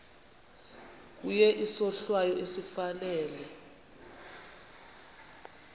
kuye isohlwayo esifanele